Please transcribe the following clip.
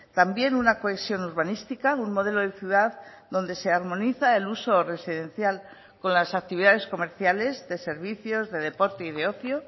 también una cohesión urbanística un modelo de ciudad donde se armoniza el uso residencial con las actividades comerciales de servicios de deporte y de ocio